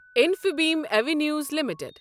Infibeam Avenues limited